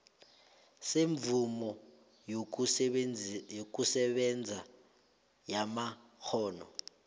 semvumo yokusebenza yamakghono